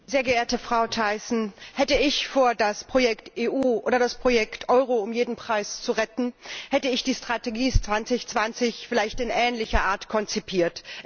Frau Präsidentin, sehr geehrte Frau Thyssen! Hätte ich vor, das Projekt EU oder das Projekt Euro um jeden Preis zu retten, hätte ich die Strategie Europa 2020 vielleicht in ähnlicher Art konzipiert.